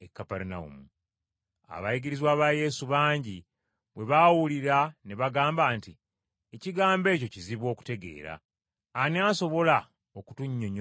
Abayigirizwa ba Yesu bangi bwe baabiwulira ne bagamba nti, “Ekigambo ekyo kizibu okutegeera. Ani asobola okutunnyonnyola ky’agamba?”